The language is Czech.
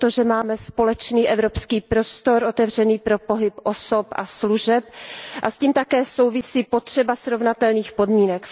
I proto, že máme společný evropský prostor otevřený pro pohyb osob a služeb a s tím také souvisí potřeba srovnatelných podmínek.